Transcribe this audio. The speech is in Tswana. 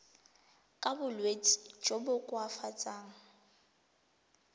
ka bolwetsi jo bo koafatsang